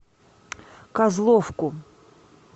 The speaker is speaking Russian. козловку